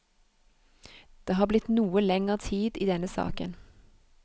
Det har blitt noe lenger tid i denne saken.